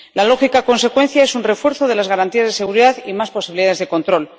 La lógica consecuencia es un refuerzo de las garantías de seguridad y más posibilidades de control.